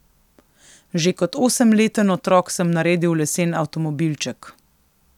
Že kot osemleten otrok sem naredil lesen avtomobilček.